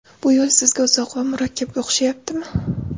Bu yo‘l sizga uzoq va murakkabga o‘xshayaptimi?